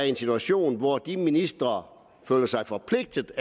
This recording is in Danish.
i en situation hvor de forskellige ministre føler sig forpligtet